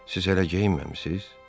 Siz hələ geyinməmisiz?